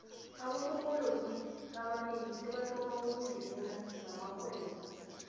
abosopolotiki abanengi sebathoma ukungenela zamarhwebo